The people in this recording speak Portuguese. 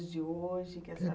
dos dias de